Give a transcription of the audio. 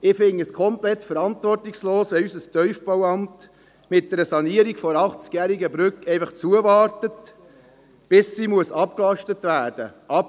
Ich finde es komplett verantwortungslos, wenn unser Tiefbauamt (TBA) mit der Sanierung einer achtzigjährigen Brücke zuwartet, bis sie «abgelastet» werden muss.